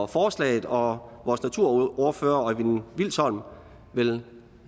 forslaget og vores naturordfører øjvind vilsholm vil